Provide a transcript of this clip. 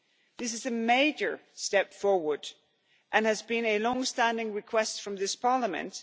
This is a major step forward and has been a long standing request from this Parliament.